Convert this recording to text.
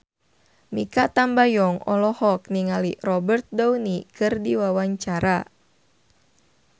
Mikha Tambayong olohok ningali Robert Downey keur diwawancara